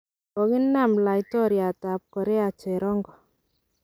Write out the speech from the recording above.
Kogina laitoriat ab Korea cherongo.